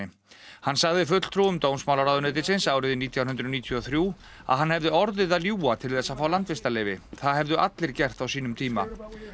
hann sagði fulltrúum dómsmálaráðuneytisins árið nítján hundruð níutíu og þrjú að hann hefði orðið að ljúga til þess að fá landvistarleyfi það hefðu allir gert á sínum tíma